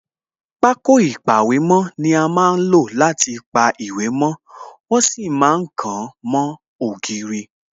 Pákó ìpàwèmó ni a má ń lò láti pa àwọn ìwé mo, wọ́n sì ma ń kàn wọ́n mó ògiri